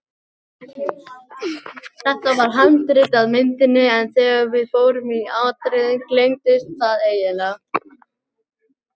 Það var handrit að myndinni en þegar við fórum í atriðin gleymdist það eiginlega.